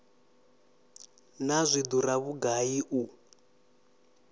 naa zwi dura vhugai u